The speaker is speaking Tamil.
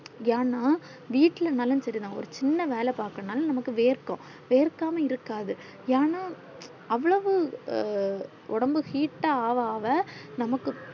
ஏன்னா வீட்லா நாளும் சேரி நான் ஒரு சின்ன வேலை பாக்கனும்னாலும் நமக்கு வேர்க்கும் வேர்க்கமா இருக்காது ஏன்னா அவ்ளோவ்வு ஒடம்பு heat அவ அவ நமக்கு